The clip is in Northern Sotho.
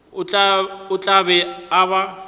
o tla be a ba